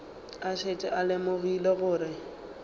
a šetše a lemogile gore